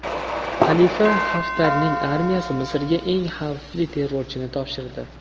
Xalifa Xaftarning armiyasi Misrga eng xavfli terrorchini topshirdi.